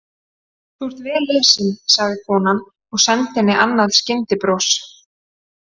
Þú ert vel lesin, sagði konan og sendi henni annað skyndibros.